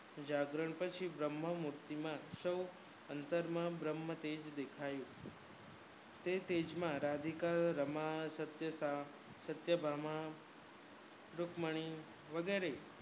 જાગરણ પછી બ્રહ્મ મુક્તિ માં સૌ અતરં માં બ્રહ્મ તેજ દેખાયું તે તેજ માં રાધિકા રમા સત્ય ભામા રુકમણી વગેરે